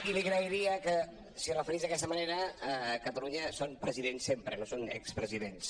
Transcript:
i li agrairia que s’hi referís d’aquesta manera a catalunya són presidents sempre no són expresidents